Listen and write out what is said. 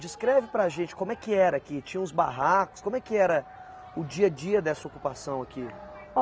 Descreve para a gente como é que era aqui, tinha uns barracos, como é que era o dia a dia dessa ocupação aqui?